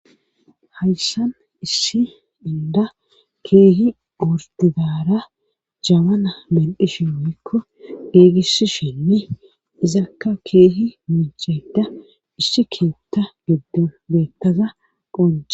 hayssan issi indda keehi gortidaara jabana medhdhishshin woykko gigissishen izakka keehi miicheda issi keetta geddon geettaza qonje